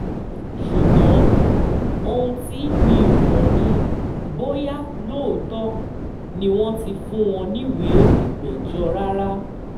ṣùgbọ́n ohun tí mi ò mọ̀ ni bóyá lóòótọ́ ni wọ́n ti fún wọn níwèé ìpéjọ rárá